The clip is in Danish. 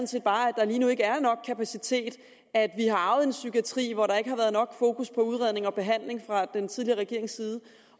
set bare at der lige nu ikke er nok kapacitet at vi har arvet en psykiatri hvor der ikke har været nok fokus på udredning og behandling fra den tidligere regerings side